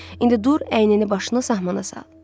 İndi dur, əynini-başını sahmana sal.